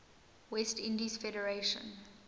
west indies federation